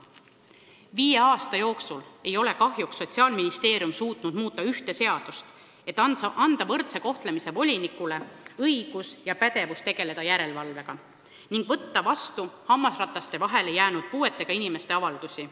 Viie aasta jooksul ei ole Sotsiaalministeerium suutnud muuta ühte seadust, et anda võrdse kohtlemise volinikule õigus tegelda sellegi järelevalvega ning võtta vastu hammasrataste vahele jäänud puuetega inimeste avaldusi.